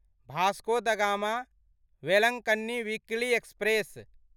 Vasco da Gama Velankanni weekly express